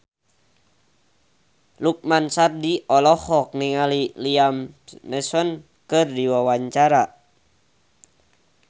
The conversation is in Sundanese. Lukman Sardi olohok ningali Liam Neeson keur diwawancara